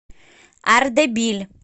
ардебиль